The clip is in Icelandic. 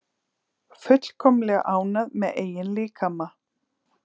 Fullkomlega ánægð með eigin líkama